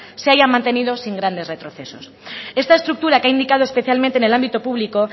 se haya mantenido sin grandes retrocesos esta estructura que ha indicado especialmente en el ámbito público